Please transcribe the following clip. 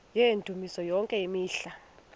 yendumiso yonke imihla